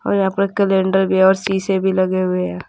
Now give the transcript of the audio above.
और यहां पर कैलेंडर भी है और शीशे भी लगे हुए हैं।